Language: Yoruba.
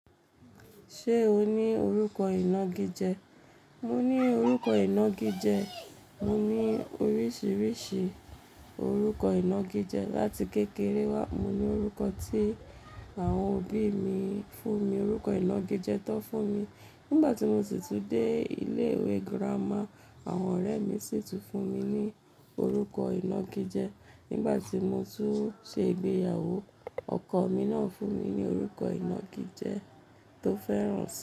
Ṣé o ní orúkọ ìnagijẹ? Mo ní orúkọ ìnagijẹ, mo ní oríṣiríṣi orúkọ ìnagijẹ. Láti kékeré wá, mo ní orúkọ tí àwọn òbí mi fún mi, orúkọ ìnagijẹ tan fún mi. Nígbà tí mo sì tún dé ilé ìwé girama, àwọn ọ̀rẹ́ mi sì tún fún mi ní orúkọ ìnagijẹ. Nígbà tí mo tún ṣe ìgbéyàwó, ọkọ mi náà fún mi ní orúkọ ìnagijẹ tó fẹ́ràn si.